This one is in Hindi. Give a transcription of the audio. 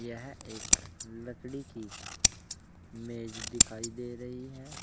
यह एक लड़की की मेज दिखाई दे रही है।